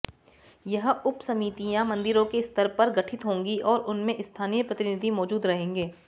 यह उपसमितियां मंदिरों के स्तर पर गठित होंगी और उनमें स्थानीय प्रतिनिधि मौजूद रहेंगे